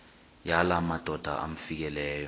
yala madoda amfikeleyo